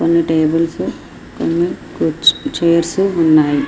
కొన్ని టేబుల్స్ కొన్ని కూర్చ్ చైర్స్ ఉహ్ ఉన్నాయి.